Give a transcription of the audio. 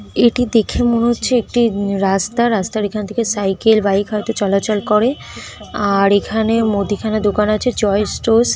এটি দেখে মনে হচ্ছে একটি রাস্তা। রাস্তার এখান থেকে সাইকেল বাইক হয়তো চলাচল করে। আর এখানে মুদিখানা দোকান আছে চয়েস টোস্ট ।